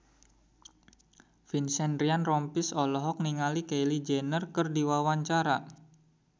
Vincent Ryan Rompies olohok ningali Kylie Jenner keur diwawancara